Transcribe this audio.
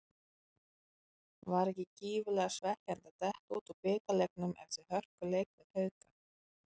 Var ekki gífurlega svekkjandi að detta út úr bikarnum eftir hörkuleik við Hauka?